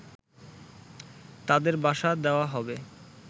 তাদের বাসা দেওয়া হবে